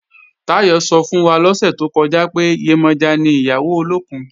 Táyọ̀ sọ fún wa lọ́sẹ̀ tó kọjá pé, Yemọja ni ìyàwó olókùn